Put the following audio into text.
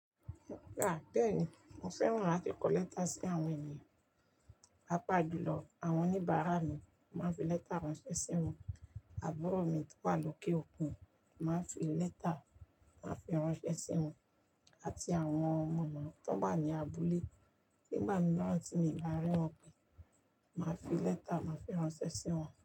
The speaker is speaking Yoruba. À bẹ́ẹ̀ ni, mo fẹ́ràn láti kọ lẹ́tà sí àwọn ènìyàn. Papá júlọ àwọn oníbàárà mi mo máa ń fi lẹ́tà ránṣẹ́ sí wọn, àbúrò mi tó wà lóké òkun mo máa ń fi lẹ́tà máa ń fi ránṣẹ́ sí wọn àti àwọn mọmọ tọn wá ní abúlé ni gbà míìrán tí mi ò bá rí wọn pé, máa fi lẹ́tà máa fi ránṣẹ́ sí wọn.